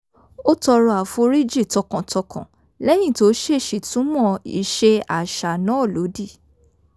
ó tọrọ àforíjì tọkàntọkàn lẹ́yìn tó ṣèèṣì túnmọ̀ ìṣe àṣà náà lódì